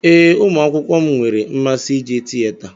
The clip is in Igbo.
Ee, ụmụ akwụkwọ m nwere mmasị ije tieta.